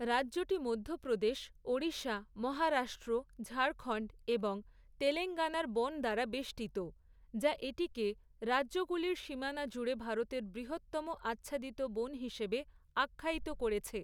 রাজ্যটি মধ্যপ্রদেশ, ওড়িশা, মহারাষ্ট্র, ঝাড়খণ্ড এবং তেলেঙ্গানার বন দ্বারা বেষ্টিত, যা এটিকে, রাজ্যগুলির সীমানা জুড়ে ভারতের 'বৃহত্তম আচ্ছাদিত বন' হিসেবে আখ্যায়িত করেছে।